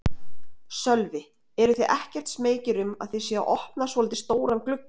Sölvi: Eruð þið ekkert smeykir um að þið séuð að opna svolítið stóran glugga?